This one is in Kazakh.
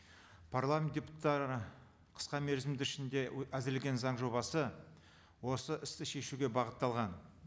парламент қысқа мерзімді ішінде әзірлеген заң жобасы осы істі шешуге бағытталған